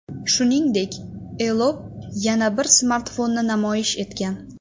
Shuningdek, Elop yana bir smartfonni namoyish etgan.